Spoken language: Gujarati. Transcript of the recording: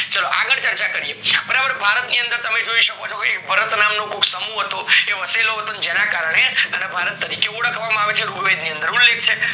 ચાલો આગળ ચર્ચા કરીએ બરાબર ભારત ની અંદર તમે જોય શકો છે ભય ભરત નામ નું સમૂહ હતો એ વસીલો ના કારણે ભારત તરીકે ઓળખવામાં આવે છે રૂગ વેદ ની અંદર એનો ઉલેખ છે